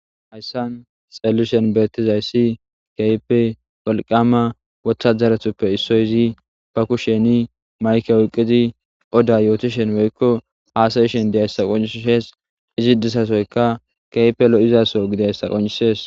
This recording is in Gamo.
Hayisani xelishini betizayisi kehippe woliqama wotaderutupoe issozi ba kusheni mayikke oyikkidi oda yotishshenne woyikko hasaishshin dizayisa qoncisesi izi dizasoyikka kehippe loizasoho gididayissa qoncisesi